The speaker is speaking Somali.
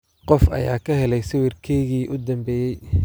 qof ayaa ka helay sawirkaygii u dambeeyay